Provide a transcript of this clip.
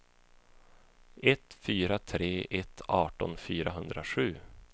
ett fyra tre ett arton fyrahundrasju